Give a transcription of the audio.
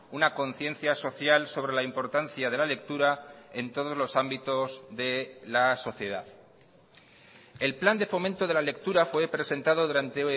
una conciencia social sobre la importancia de la lectura en todos los ámbitos de la sociedad el plan de fomento de la lectura fue presentado durante